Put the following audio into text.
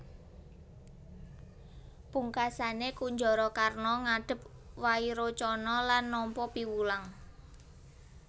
Pungkasané Kunjarakarna ngadhep Wairocana lan nampa piwulang